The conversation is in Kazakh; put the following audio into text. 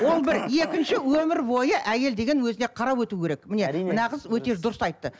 ол бір екінші өмір бойы әйел деген өзіне қарап өту керек міне мына қыз өте дұрыс айтты